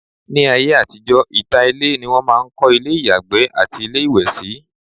ní ayé àtijọ́, ìta ilé ni wọn máà ń kọ́ ilé ìyàgbẹ́ àti ilé ìwẹ̀ sí